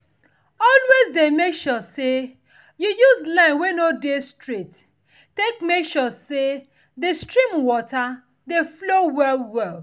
always dey make sure say you use wey no dey straight take make sure say the stream water dey flow well well.